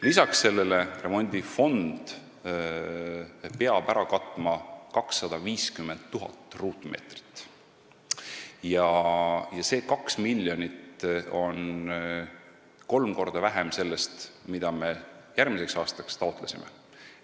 Lisaks sellele peab remondifond ära katma 250 000 ruutmeetrit ja see 2 miljonit on kolm korda vähem sellest, mida me järgmiseks aastaks taotlesime.